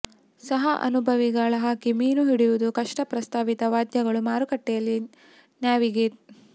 ಸಹ ಅನುಭವಿ ಗಾಳಹಾಕಿ ಮೀನು ಹಿಡಿಯುವುದು ಕಷ್ಟ ಪ್ರಸ್ತಾವಿತ ವಾದ್ಯಗಳು ಮಾರುಕಟ್ಟೆಯಲ್ಲಿ ನ್ಯಾವಿಗೇಟ್